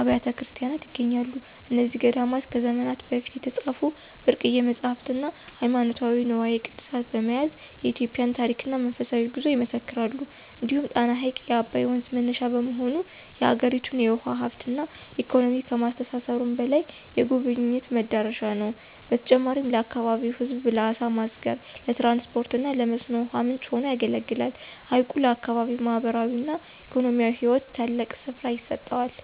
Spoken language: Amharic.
አብያተ ክርስቲያናት ይገኛሉ። እነዚህ ገዳማት ከዘመናት በፊት የተጻፉ ብርቅዬ መጻሕፍትና ሃይማኖታዊ ንዋየ ቅድሳት በመያዝ የኢትዮጵያን ታሪክና መንፈሳዊ ጉዞ ይመሰክራሉ። እንዲሁም ጣና ሐይቅ የአባይ ወንዝ መነሻ በመሆኑ፣ የአገሪቱን የውሃ ሀብትና ኢኮኖሚ ከማስተሳሰሩም በላይ፣ የጎብኝዎች መዳረሻ ነው። በተጨማሪም ለአካባቢው ሕዝብ ለዓሣ ማስገር፣ ለትራንስፖርትና ለመስኖ ውሃ ምንጭ ሆኖ ያገለግላል። ሐይቁ ለአካባቢው ማኅበራዊና ኢኮኖሚያዊ ሕይወት ትልቅ ስፍራ ይሰጠዋል።